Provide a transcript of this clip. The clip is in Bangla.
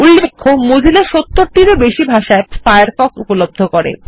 উল্লেখ্য মজিলা ৭০ টির ও বেশি ভাষায় ফায়ারফক্ষ উপলব্ধ করে